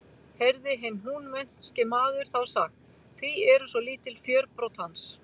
Heyrði hinn húnvetnski maður þá sagt: Hví eru svo lítil fjörbrot hans?